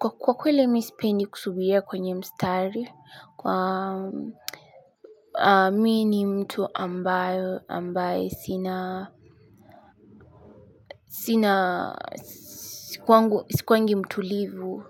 Kwa kweli mimi sipendi kusubiria kwenye mstari mimk ni mtu ambayo ambaye sinaa sina sikuwangi mtulivuu